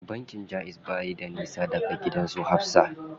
Bankin jaiz bayi da nisa da gidan su Hafsa.